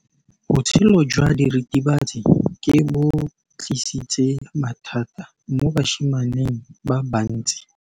Botshelo jwa diritibatsi ke bo tlisitse mathata mo basimaneng ba bantsi.